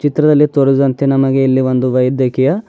ಚಿತ್ರದಲ್ಲಿ ತೋರಿಸಿದಂತೆ ನಮಗೆ ಇಲ್ಲಿ ಒಂದು ವೈದ್ಯಕೀಯ--